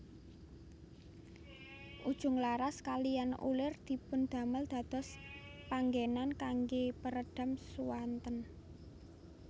Ujung laras kaliyan ulir dipundamel dados panggenan kangge peredam suanten